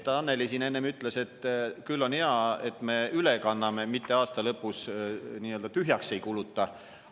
Annely siin enne ütles, et küll on hea, et me üle kanname, mitte aasta lõpus nii-öelda tühjaks ei kuluta.